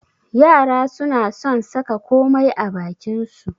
Yara suna son saka komai a bakin su.